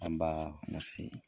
An b'aa .